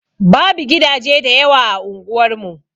Babu gidaje da yawa a unguwar mu.